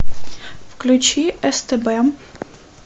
включи стб